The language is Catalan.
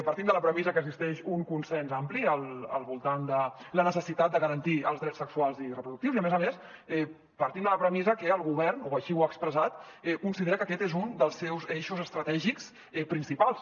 partim de la premissa que existeix un consens ampli al voltant de la necessitat de garantir els drets sexuals i reproductius i a més a més partim de la premissa que el govern o així ho ha expressat considera que aquest és un dels seus eixos estratègics principals